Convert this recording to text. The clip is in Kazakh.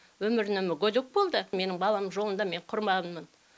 өмірі міне мүгедек болып қалды мен баламның жолында мен құрбанмын